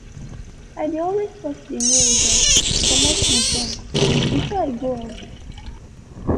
i dey always sort de mails and commote de junk before i go out.